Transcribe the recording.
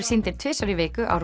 sýndir tvisvar í viku á